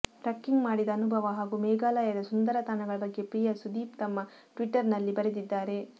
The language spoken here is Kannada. ಟ್ರಕ್ಕಿಂಗ್ ಮಾಡಿದ ಅನುಭವ ಹಾಗೂ ಮೇಘಾಲಯದ ಸುಂದರ ತಾಣಗಳ ಬಗ್ಗೆ ಪ್ರಿಯಾ ಸುದೀಪ್ ತಮ್ಮ ಟ್ವಿಟ್ಟರ್ ನಲ್ಲಿ ಬರೆದಿದ್ದಾರೆ